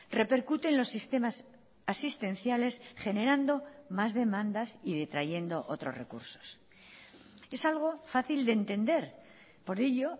repercute en los sistemas asistenciales generando más demandas y detrayendo otros recursos es algo fácil de entender por ello